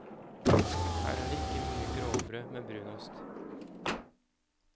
Her er det ikke mye grovbrød med brunost.